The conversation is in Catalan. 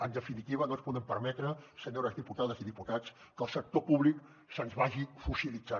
en definitiva no ens podem permetre senyores diputades i diputats que el sector públic se’ns vagi fossilitzant